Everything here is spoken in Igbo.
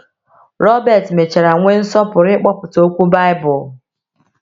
Robert mechara nwee nsọpụrụ ịkpọpụta okwu Baịbụl.